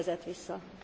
kérdezett vissza.